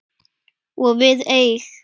Og við eig